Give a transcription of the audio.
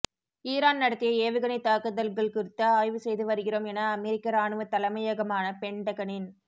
Iran நடத்திய ஏவுகணைத் தாக்குதல்கள் குறித்து ஆய்வு செய்து வருகிறோம் எனஅமெரிக்க இராணுவ தலைமையகமான பென்டகனின்